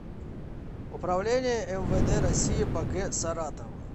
управление мвд россии по г саратову